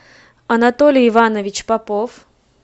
анатолий иванович попов